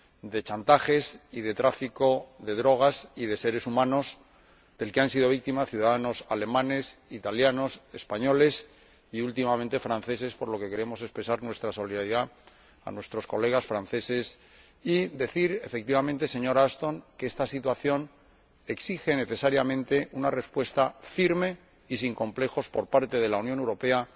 de chantajes y de tráfico de drogas y de seres humanos del que han sido víctimas ciudadanos alemanes, italianos, españoles y, últimamente, franceses, por lo que queremos expresar nuestra solidaridad a nuestros colegas franceses y decir, señora Ashton, que esta situación exige, necesariamente, una respuesta firme y sin complejos por parte de la Unión Europea,